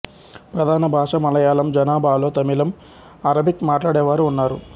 ప్రధాన భాష మలయాళం జనాభాలో తమిళం అరబిక్ మాట్లాడేవారూ ఉన్నారు